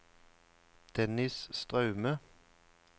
Dennis Straume